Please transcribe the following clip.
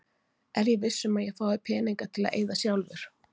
Er ég viss um að ég fái peninga til að eyða sjálfur?